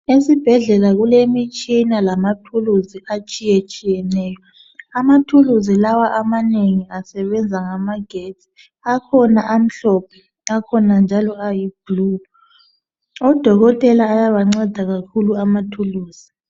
Esibhedlela kulemitshina lamathuluzi atshiyetshiyeneyo. Amathuluzi lawa amanengi asebenza ngamagetsi. Akhona amhlophe, akhona ayi blue. Odokotela ayabanceda kakhulu amathuluzi.